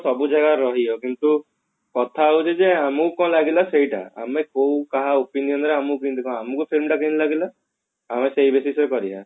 ସବୁ ଜାଗା ରହିବ କିନ୍ତୁ କଥା ହଉଛି ଯେ ଆମକୁ କଣ ଲାଗିଲା ସେଇଟା ଆମେ କୋଉ କାହା opinion ରେ ଆମକୁ କେମତି କଣ ଆମକୁ film ଟା କେମତି ଲାଗିଲା କରିବା